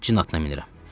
Cin atına minirəm.